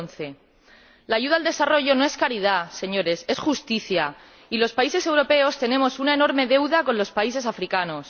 2011. La ayuda al desarrollo no es caridad, señores, es justicia. Y los países europeos tenemos una enorme deuda con los países africanos.